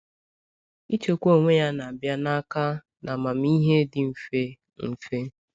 Ichekwa onwe ya na-abịa n’aka na amamihe dị mfe. mfe.